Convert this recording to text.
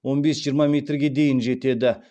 он бес жиырма метрге дейін жетеді